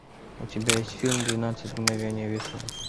у тебя есть фильм двенадцать мгновений весны